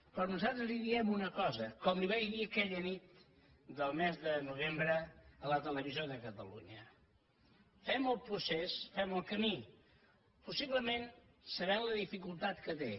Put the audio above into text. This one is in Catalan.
però nosaltres li diem una cosa com la hi vaig dir aquella nit del mes de novembre a la televisió de catalunya fem el procés fem el camí possiblement sabent la dificultat que té